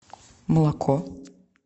молоко